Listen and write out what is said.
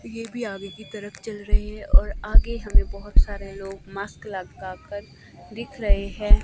ये भी आगे की तरफ़ चल रही है और आगे हमें बहोत सारे लोग मास्क लटकाकर दिख रहे है।